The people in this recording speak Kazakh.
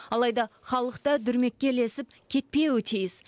алайда халық та дүрмекке ілесіп кетпеуі тиіс